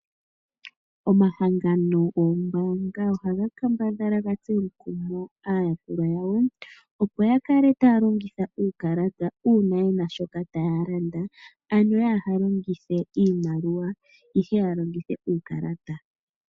Omahangano goombanga ohaga kambadhala ga tse omukumo aayakulwa yawo, opo ya kale taya longitha uukalata uuna ye na shoka taya landa. Ano ya ha longithe iimaliwa, ihe ya longithe uukalata.